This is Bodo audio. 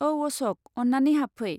औ अश'क, अन्नानै हाबफै।